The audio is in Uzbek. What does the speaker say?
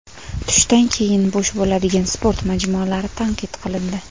Tushdan keyin bo‘sh bo‘ladigan sport majmualari tanqid qilindi.